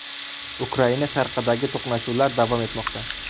Ukraina sharqidagi to‘qnashuvlar davom etmoqda.